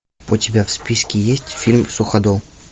у тебя в списке есть фильм суходол